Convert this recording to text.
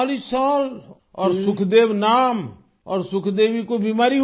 40 سال اور سکھ دیو نام، اور سکھ دیوی کو بیماری ہوگئی